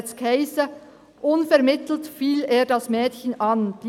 Da hiess es: «Unvermittelt fiel er das Mädchen an, […].